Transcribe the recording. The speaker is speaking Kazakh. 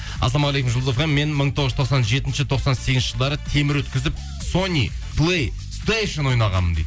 ассалаумағалейкум жұлдыз фм мен мың тоғыз жүз тоқсан жетінші тоқсан сегізінші жылдары темір өткізіп ойнағанмын дейді